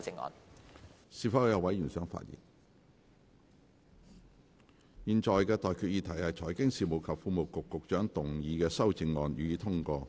我現在向各位提出的待決議題是：財經事務及庫務局局長動議的修正案，予以通過。